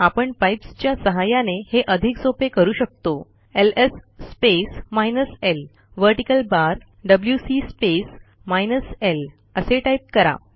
आपणpipes च्या सहाय्याने हे अधिक सोपे करू शकतोls space minus l vertical bar डब्ल्यूसी स्पेस माइनस ल असे टाईप करा